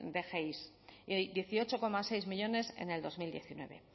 de gei dieciocho coma seis millónes en el dos mil diecinueve